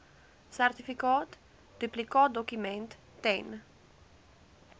sertifikaat duplikaatdokument ten